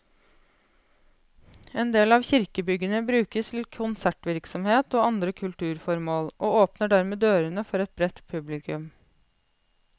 En del av kirkebyggene brukes til konsertvirksomhet og andre kulturformål, og åpner dermed dørene for et bredt publikum.